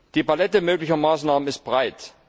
Die Palette möglicher Maßnahmen ist breit.